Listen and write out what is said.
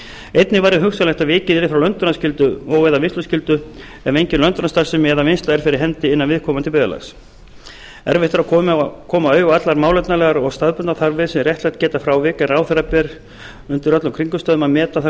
einnig væri hugsanlegt að vikið yrði frá löndunarskyldu og eða vinnsluskyldu ef engin löndunarstarfsemi eða vinnsla er fyrir hendi innan viðkomandi byggðarlags erfitt er að koma auga á allar málefnalegar og staðbundnar þarfir sem réttlætt geta frávik en ráðherra ber undir öllum kringumstæðum að meta þær